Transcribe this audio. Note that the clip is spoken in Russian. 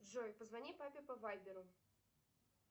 джой позвони папе по вайберу